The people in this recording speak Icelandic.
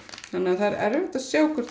það er erfitt að sjá hvort